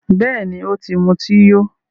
Bẹ́ẹ̀ni, o ti muti yó